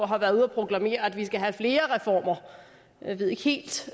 har været ude og proklamere at vi skal have flere reformer jeg ved ikke helt